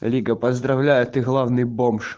лига поздравляю ты главный бомж